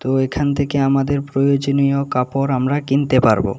তো এখান থেকে আমাদের প্রয়োজনীয় কাপড় আমরা কিনতে পারবো।